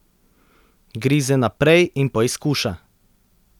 Grize naprej in poizkuša.